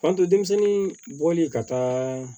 Fanto denmisɛnnin bɔli ka taa